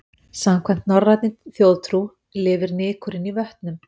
Samkvæmt norrænni þjóðtrú lifur nykurinn í vötnum.